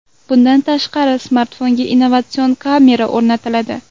Bundan tashqari, smartfonga innovatsion kamera o‘rnatiladi.